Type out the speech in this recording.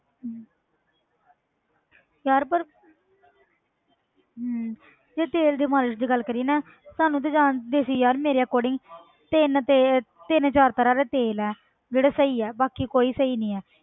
ਹਮ ਯਾਰ ਪਰ ਹਮ ਯਾਰ ਤੇਲ ਦੇ ਮਾਲਿਸ਼ ਦੀ ਗੱਲ ਕਰੀਏ ਨਾ ਸਾਨੂੰ ਤੇ ਜਾਂ ਵੈਸੇ ਯਾਰ ਮੇਰੇ according ਤਿੰਨ ਤੇਲ ਤਿੰਨ ਚਾਰ ਤਰ੍ਹਾਂ ਦਾ ਤੇਲ ਹੈ ਜਿਹੜਾ ਸਹੀ ਹੈ ਬਾਕੀ ਕੋਈ ਸਹੀ ਨਹੀਂ ਹੈ।